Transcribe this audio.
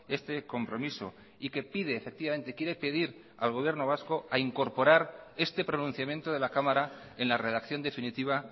este compromiso y que pide efectivamente quiere pedir al gobierno vasco a incorporar este pronunciamiento de la cámara en la redacción definitiva